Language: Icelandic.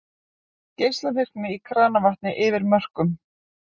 Geislavirkni í kranavatni yfir mörkum